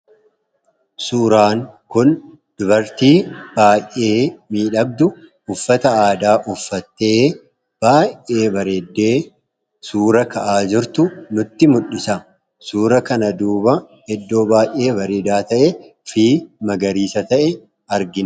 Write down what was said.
Suuraan kun dubartii baayee miidhagduu uffata aadaa uffattee baay'ee bareeddee suura ka'aa jirtu nutti mul'isa. Suura kana duuba iddoo baay'ee bareedaa ta'ee fi magariisa ta'e argina.